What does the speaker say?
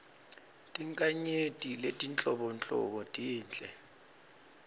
tinkhanyeti letinhlobonhlobo tinhle